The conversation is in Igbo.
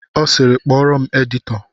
Ọ sịịrị, kpọọrọ m editọ!